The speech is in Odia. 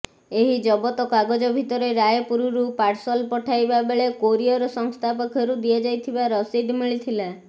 ଏହି ଜବତ କାଗଜ ଭିତରେ ରାୟପୁରରୁ ପାର୍ସଲ ପଠାଇବା ବେଳେ କୋରିଅର ସଂସ୍ଥା ପକ୍ଷରୁ ଦିଆଯାଇଥିବା ରସିଦ ମିଳିଥିଲା